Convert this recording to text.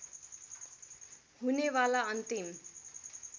हुने वाला अन्तिम